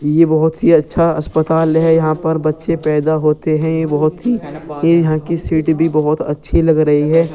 ये बहुत ही अच्छा अस्पताल है। यहाँ पर बच्चे पैदा होते हैं। बहुत ही ये यहाँ की सीट भी बहुत ही अच्छी लग रही है।